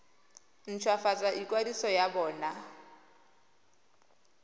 nt hwafatse ikwadiso ya bona